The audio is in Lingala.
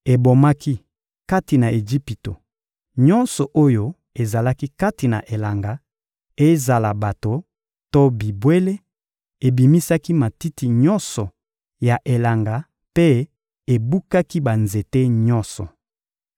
Ebomaki, kati na Ejipito, nyonso oyo ezalaki kati na elanga, ezala bato to bibwele; ebebisaki matiti nyonso ya elanga mpe ebukaki banzete nyonso.